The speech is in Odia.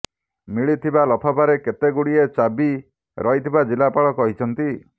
ମିଳିଥିବା ଲଫାପାରେ କେତେ ଗୁଡିଏ ଚାବି ରହିଥିବା ଜିଲ୍ଲାପାଳ କହିଛନ୍ତି